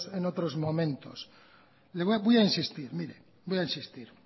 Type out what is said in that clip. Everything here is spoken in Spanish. en otros momentos voy a insistir mire voy a insistir